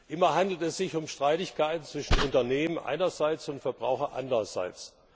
Immer handelt es sich um Streitigkeiten zwischen Unternehmen einerseits und Verbrauchern andererseits.